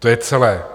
To je celé.